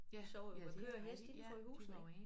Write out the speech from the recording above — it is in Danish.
De sov jo med køer og heste indenfor i husene ik